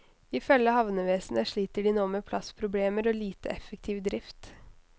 I følge havnevesenet sliter de nå med plassproblemer og lite effektiv drift.